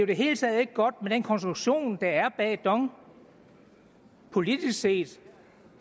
det hele taget ikke godt med den konstruktion der er bag dong politisk set